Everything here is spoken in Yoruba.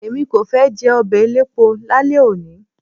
Èmi kò fẹ́ jẹ ọbẹ̀ elépo lálẹ́ òní.